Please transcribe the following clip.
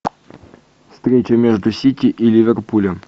встреча между сити и ливерпулем